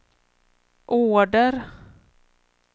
order